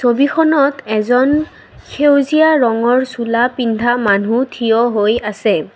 ছবিখনত এজন সেউজীয়া ৰঙৰ চোলা পিন্ধা মানুহ থিয় হৈ আছে।